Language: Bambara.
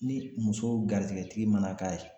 Ni muso garijɛgɛtigi mana k'a ye